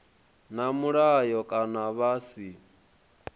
na mulayo kana vha si